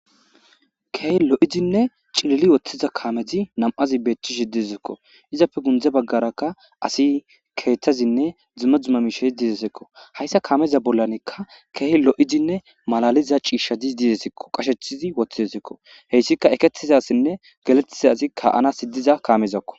keehi lo7izinne cilili woththiza kaameti nam7azi beetishi dizikko izappe gundze baggarakka asi keethazinne dzuma dzuma mishe diidesekko hayssa kaameza bollanekka keeh lo7izinne malaliza ciishshadi diidesekko qashecthizi woththizesikko heyssika eketizasinne galettiza zi ka7anasi diza kaamezakko